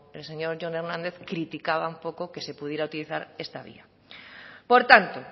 el señor jon hernández criticaba un poco que se pudiera utilizar esta vía por tanto